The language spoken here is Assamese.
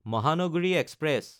মহানগৰী এক্সপ্ৰেছ